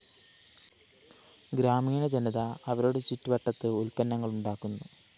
ഗ്രാമീണ ജനത അവരുടെ ചുറ്റുവട്ടത്ത് ഉല്‍പ്പന്നങ്ങള്‍ ഉണ്ടാക്കുന്നു